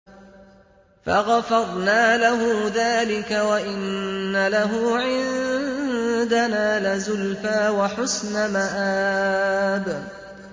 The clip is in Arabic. فَغَفَرْنَا لَهُ ذَٰلِكَ ۖ وَإِنَّ لَهُ عِندَنَا لَزُلْفَىٰ وَحُسْنَ مَآبٍ